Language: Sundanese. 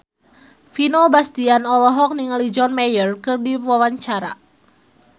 Vino Bastian olohok ningali John Mayer keur diwawancara